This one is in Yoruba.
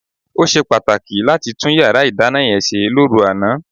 Ó ṣe pàtàkì láti tún yàrá ìdáná yẹn ṣe lóru àná.